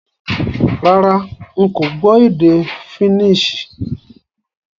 Rárá, n ko gbó édé Finnish